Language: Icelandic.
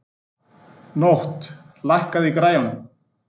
Nótt, lækkaðu í græjunum.